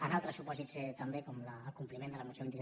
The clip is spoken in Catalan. en altres supòsits també com el compliment de la moció vint set